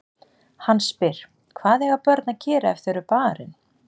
Hann spyr: Hvað eiga börn að gera ef þau eru barin?